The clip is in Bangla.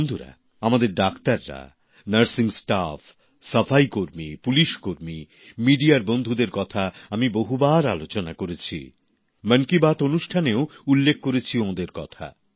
বন্ধুরা আমাদের ডাক্তাররা নার্সিং স্টাফ সাফাই কর্মী পুলিশকর্মী সংবাদমাধ্যমের বন্ধুদের কথা আমি বহুবার আলোচনা করেছি ম ন কি বাত অনুষ্ঠানেও উল্লেখ করেছি ওদের কথা